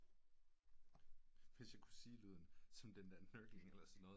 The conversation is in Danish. Hvis jeg kunne sige lyden som den der muckling eller noget